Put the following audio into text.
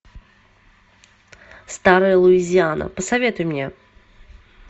старая луизиана посоветуй мне